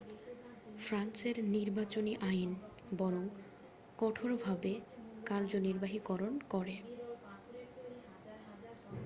ফ্রান্সের নির্বাচনী আইন বরং কঠোরভাবে কার্যনির্বাহীকরণ করে